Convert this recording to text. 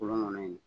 Kolon ŋɔnɔ ye